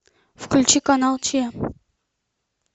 включи канал че